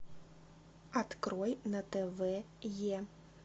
открой на тв е